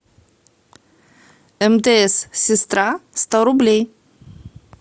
мтс сестра сто рублей